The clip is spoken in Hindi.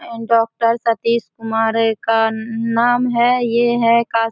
एंड डाॅक्टर सतीश कुमार का नाम है ये है का --